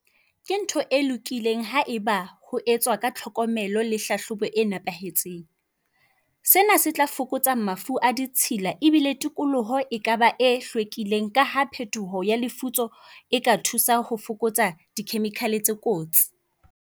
Ke ntho e lokileng haeba ho etswa ka tlhokomelo le hlahlobo e nepahetseng. Sena se tla fokotsa mafu a ditshila ebile tikoloho e kaba e hlwekileng. Ka ha phetoho ya lefutso e ka thusa ho fokotsa di-chemical tse kotsi.